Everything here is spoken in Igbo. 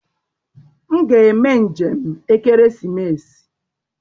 M ga-eme njem ekeresimesi.